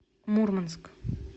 мурманск